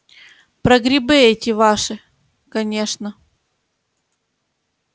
про грибы эти ваши конечно